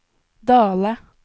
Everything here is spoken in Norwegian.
Dale